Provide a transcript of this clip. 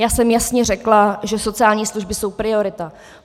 Já jsem jasně řekla, že sociální služby jsou priorita.